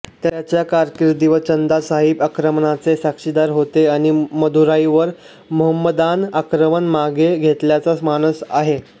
त्याच्या कारकिर्दीवर चंदा साहिब आक्रमणाचे साक्षीदार होते आणि मदुराईवर मोहम्मदान आक्रमण मागे घेतल्याचा मानस आहे